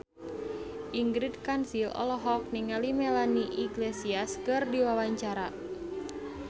Ingrid Kansil olohok ningali Melanie Iglesias keur diwawancara